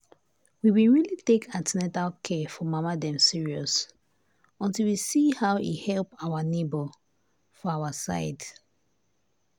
we been really take an ten atal care for mama dem serious until we see how e help people our neighbors for our side.